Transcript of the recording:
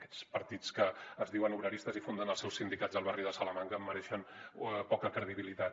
aquests partits que es diuen obreristes i funden els seus sindicats al barri de salamanca mereixen poca credibilitat